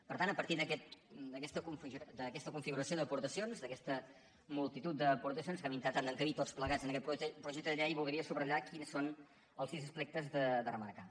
per tant a partir d’aquesta configuració d’aportacions d’aquesta multitud d’aportacions que hem intentat encabir tots plegats en aquest projecte de llei voldria subratllar quins són els sis aspectes a remarcar